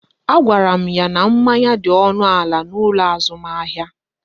A gwara m ya n'manya dị ọnụ ala n'ụlọ azụmahịa